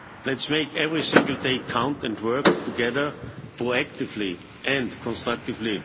Let's make every single day count and work together proactively and constructively.